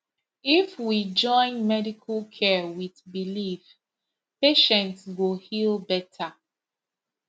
if we join medical care with belief patient go heal better